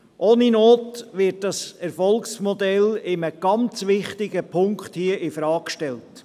Ohne Not wird nun dieses Erfolgsmodell in einem ganz wichtigen Punkt infrage gestellt.